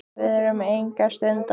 Við erum enga stund að því.